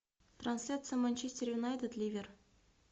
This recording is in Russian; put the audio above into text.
трансляция манчестер юнайтед ливер